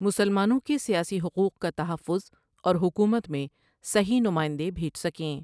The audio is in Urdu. مسلمانوں کے سیاسی حقوق کا تحفظ اور حکومت میں صحیح نماٸندے بھیج سکیں ۔